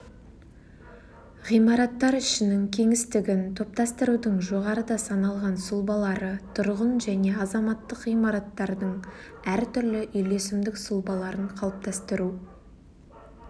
ғимараттар ішінің кеңістігін топтастырудың жоғарыда саналған сұлбалары тұрғын және азаматтық ғимараттардың әртүрлі үйлесімдік сұлбаларын қалыптастыру